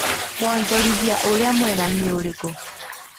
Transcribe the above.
Wanjorithia urĩa mwega nĩ ũrĩkũ